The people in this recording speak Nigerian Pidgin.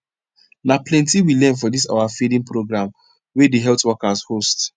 na plenti we learn for this our feeding program wey the healt workers host